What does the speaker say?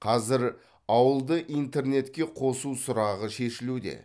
қазір ауылды интернетке қосу сұрағы шешілуде